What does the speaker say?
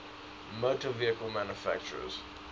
motor vehicle manufacturers